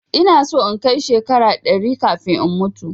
Ina so in kai shekara ɗari kafin in mutu